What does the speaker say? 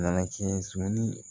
Nana kɛ